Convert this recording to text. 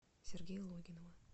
сергея логинова